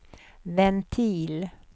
ventil